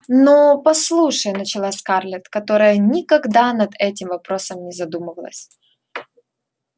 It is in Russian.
но послушай начала скарлетт которая никогда над этим вопросом не задумывалась